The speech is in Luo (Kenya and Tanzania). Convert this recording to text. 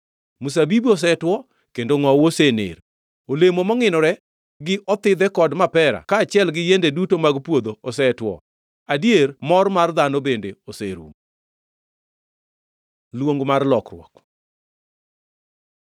Mzabibu osetwo kendo ngʼowu osener, olemo mongʼinore, gi othidhe kod mapera kaachiel gi yiende duto mag puodho osetwo. Adier mor mar dhano bende oserumo. Luong mar lokruok